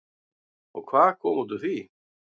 Og hvað kom út úr því?